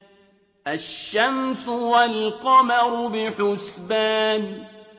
الشَّمْسُ وَالْقَمَرُ بِحُسْبَانٍ